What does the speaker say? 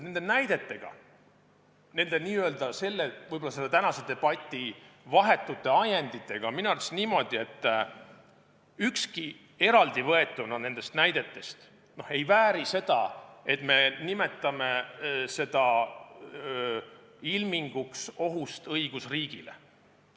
Nende näidetega, tänase debati vahetute ajenditega on minu arust niimoodi, et eraldi võetuna ei vääri neist ükski seda, et me nimetame seda ohuilminguks õigusriigile.